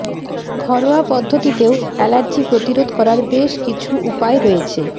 ঘরোয়া পদ্ধতিতেও অ্যালার্জি প্রতিরোধ করার বেশ কিছু উপায় রয়েছে